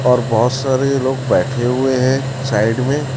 और बहोत सारे लोग बैठे हुए हैं साइड में--